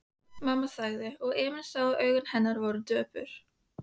Mamma þagði og Emil sá að augu hennar voru döpur.